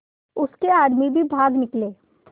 उसके आदमी भी भाग निकले